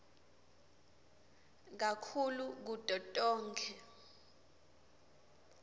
kakhulu kuto tonkhe